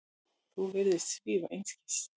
Þú virðist svífast einskis.